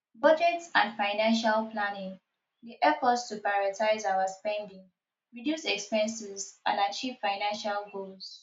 budget and financial planning dey help us to prioritize our spending reduce expenses and achieve financial goals